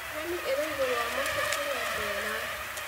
Nyoni ĩrĩ igũrũ wa mũtĩ kĩrĩa mbera